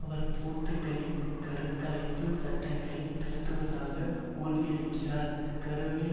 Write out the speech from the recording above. அவர் போர்த்துக்கலின் கரு கலைப்பு சட்டங்களையும் திருத்துவதாக உறுதியளித்திருக்கிறார் கருவில்